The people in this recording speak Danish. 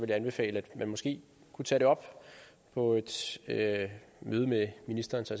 jeg anbefale at man måske kunne tage det op på et møde med ministeren og så